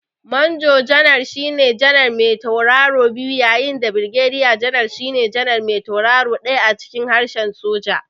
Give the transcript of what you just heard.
Manjo janar shine janar me tauraro biyu yayin da Birgediya janar shine janar me tauraro ɗaya a cikin harshen soja.